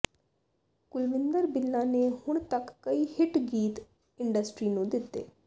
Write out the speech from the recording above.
ਕੁਲਵਿੰਦਰ ਬਿੱਲਾ ਨੇ ਹੁਣ ਤੱਕ ਕਈ ਹਿੱਟ ਗੀਤ ਇੰਡਸਟਰੀ ਨੂੰ ਦਿੱਤੇ